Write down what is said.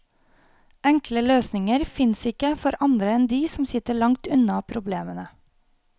Enkle løsninger fins ikke for andre enn de som sitter langt unna problemene.